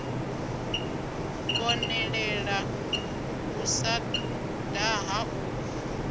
konḓelela u sa daha u